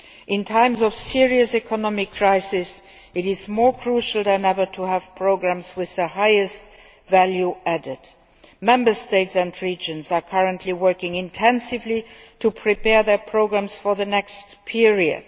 In times of serious economic crisis, it is more crucial than ever to have programmes with the highest possible level of value added. Member States and regions are currently working intensively to prepare their programmes for the next period.